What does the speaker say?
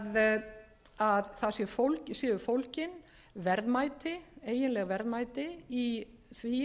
hlutans að það séu fólgin verðmæti eiginleg verðmæti í því